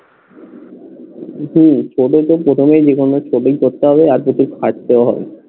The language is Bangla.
হম সেটাই তো প্রথমেই যেখানে ছোটই করতে হবে খাটতেও হবে